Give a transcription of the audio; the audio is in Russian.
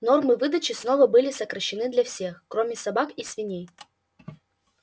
нормы выдачи снова были сокращены для всех кроме собак и свиней